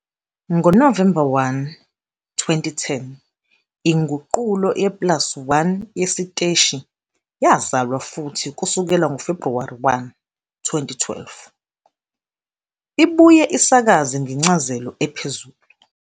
NgoNovemba 1, 2010, inguqulo ye plus1 yesiteshi yazalwa futhi kusukela ngoFebhuwari 1, 2012, ibuye isakaze ngencazelo ephezulu.